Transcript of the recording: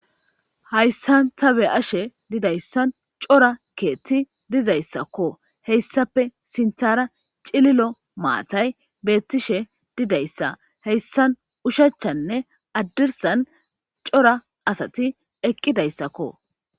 Haysan ta be'ashe didaysan c'ora kethi dizaysako heysape sintara c'lilo matay betishe didaysa heysan ushachane hadirsan c'ora asati eqidaysako.